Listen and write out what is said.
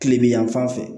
Kile bi yanfan fɛ